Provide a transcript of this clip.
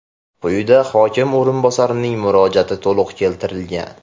Quyida hokim o‘rinbosarining murojaati to‘liq keltirilgan.